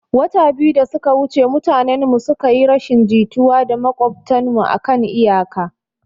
Wata biyu da suka wuce mutanen mu suka yi rashin jituwa da maƙwabtan mu akan iyaka